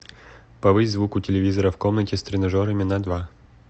повысь звук у телевизора в комнате с тренажерами на два